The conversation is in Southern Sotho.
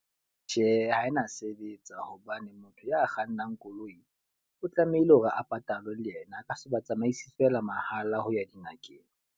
Tjhe, ha e na sebetsa. Hobane motho ya kgannang koloi o tlamehile hore a patalwe le yena a ka se batsamaisi feela mahala ho ya dingakeng.